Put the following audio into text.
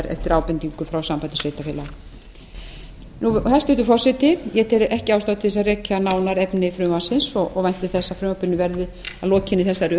eftir ábendingu frá sambandi sveitarfélaga hæstvirtur forseti ég tel ekki ástæðu til að rekja nánar efni frumvarpsins og vænti þess að frumvarpinu verði að lokinni þessari